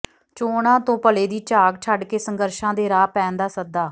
ਚੋਣਾਂ ਤੋਂ ਭਲੇ ਦੀ ਝਾਕ ਛੱਡਕੇ ਸੰਘਰਸ਼ਾਂ ਦੇ ਰਾਹ ਪੈਣ ਦਾ ਸੱਦਾ